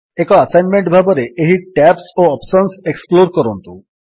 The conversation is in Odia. ଏକ ଆସାଇନମେଣ୍ଟ ଭାବରେ ଏହି ଟ୍ୟାବ୍ସ ଓ ଅପ୍ସନ୍ସ ଏକ୍ସପ୍ଲୋର୍ କରନ୍ତୁ